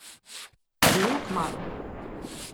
Zelo kmalu.